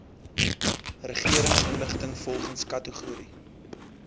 regeringsinligting volgens kategorie